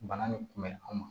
Bana nin kun bɛ an ma